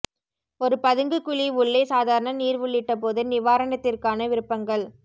ஒரு பதுங்கு குழி உள்ளே சாதாரண நீர் உள்ளிட்ட போது நிவாரணத்திற்கான விருப்பங்கள்